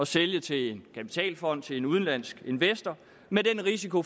sælge til en kapitalfond til en udenlandsk investor med den risiko